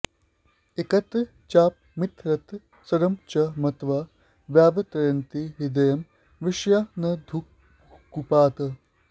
एकत्र चापमितरत्र शरं च मत्वा व्यावर्तयन्ति हृदयं विषयान्धकूपात्